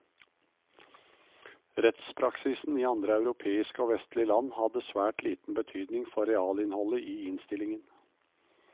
Rettspraksisen i andre europeiske og vestlige land hadde svært liten betydning for realinnholdet i innstillingen.